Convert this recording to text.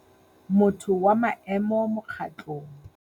Motho wa maemo mokgatlong.